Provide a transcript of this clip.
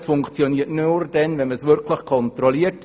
Es funktioniert nur dann, wenn man auch wirklich kontrolliert.